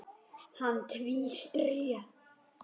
Hann tvísté.